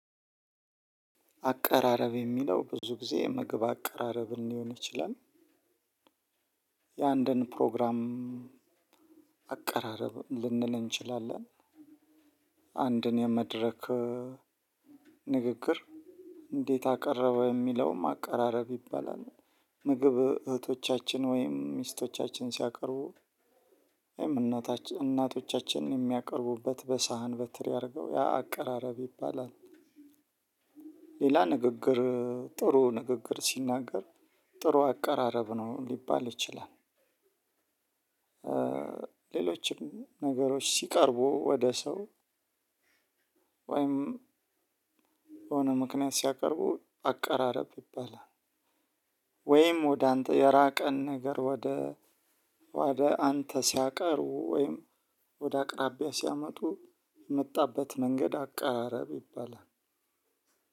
አቀራረብ የሚለው ብዙ ጊዜ ምግብ አቀራረብን ሊሆን ይችላል። የአንድን ፕሮግራም አቀራረብ ልንል እንችላለን። አንድን የመድረክ ንግግር እንዴት አቀረበ የሚለውም አቀራረብ ይባላል። ምግብ እህቶቻችን ወይም ሚስቶቻችን ሲያቀርቡ ወይም እናቶቻችን የሚያቀርቡበት በሳህን በትሪ አርገው ያ አቀራረብ ይባላል። ሌላ ንግግር ጥሩ ንግግር ሲናገር ጥሩ አቀራረብ ነው ሊባል ይችላል። ሌሎችም ነገሮች ሲቀርቡ ወደ ሰው ወይም በሆነ ምክንያት ሲያቀርቡ አቀራረብ ይባላል። ወይም ወደ አንተ የራቀን ነገር ወደ ወደ አንተ ሲያቀርቡ ወይም ወደ አቅራቢያ ሲያመጡ የመጣበት መንገድ አቀራረብ ይባላል።